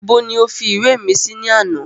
Ibo ni o fi ìwé mi sí ní àná